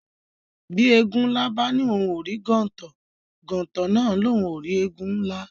Bí Éégun nlá bá ní ohùn o rí gontò, gontò nà a ní ohùn o rí Éégun nlá